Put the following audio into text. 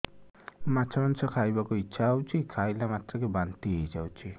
ମାଛ ମାଂସ ଖାଇ ବାକୁ ଇଚ୍ଛା ହଉଛି ଖାଇଲା ମାତ୍ରକେ ବାନ୍ତି ହେଇଯାଉଛି